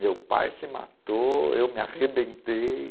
Meu pai se matou, eu me arrebentei.